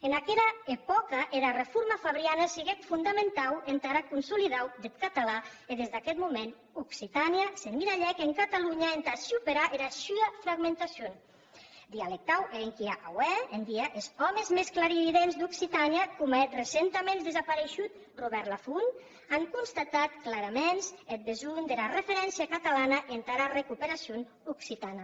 en aquera epòca era reforma fabriana siguec fondamentau entara consolidacion deth catalan e des d’aqueth moment occitània s’emmiralhèc en catalonha entà superar era sua fragmentacion dialectau e enquia aué en dia es òmes mès clarividents d’occitània coma eth recentaments desapareishut robèrt lafont an constatat claraments eth besonh dera referéncia catalana entara recuperacion occitana